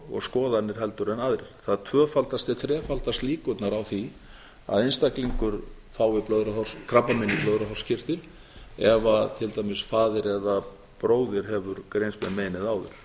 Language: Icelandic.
og skoðanir heldur en aðrir það tvöfaldast til þrefaldast líkurnar á því að einstaklingur fái krabbamein í blöðruhálskirtil ef til dæmis faðir eða bróðir hefur greinst með meinið áður